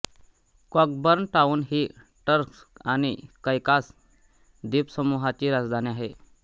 Cockburn town ही Turks आणि Caicos द्वीपसमूहाची राजधानी आहे